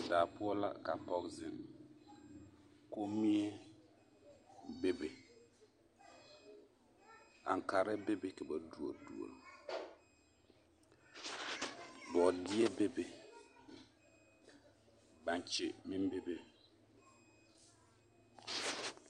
Daa poɔ la ka pɔge zeŋ, kommie bebe, aŋkaare bebe ka ba duori duori, bɔɔdeɛ bebe baŋkye meŋ bebe.